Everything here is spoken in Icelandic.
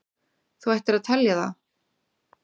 Þú ættir að telja það.